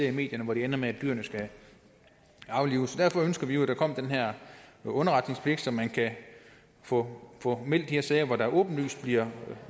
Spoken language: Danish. i medierne hvor det ender med at dyrene skal aflives derfor ønsker vi jo at der kommer den her underretningspligt så man kan få få meldt de her sager hvor der åbenlyst bliver